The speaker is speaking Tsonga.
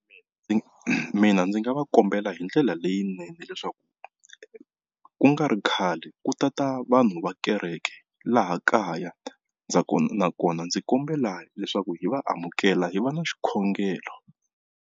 Mina mina ndzi nga va kombela hindlela leyinene leswaku ku nga ri khale ku tata vanhu va kereke laha kaya nakona ndzi kombela leswaku hi va amukela hi va na xikhongelo.